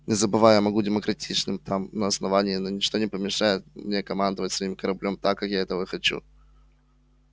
не забывай я могу быть демократичным там на основании но ничто не помешает мне командовать своим кораблём так как я этого хочу